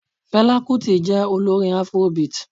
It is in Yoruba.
Fẹlá kutì jẹ́ olórin Afrobeat.